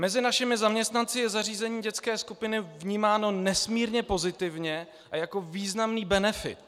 Mezi našimi zaměstnanci je zařízení dětské skupiny vnímáno nesmírně pozitivně a jako významný benefit.